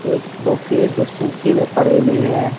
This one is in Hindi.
एक दो पेड़ जो सुखे हुए पड़े हुए हैं।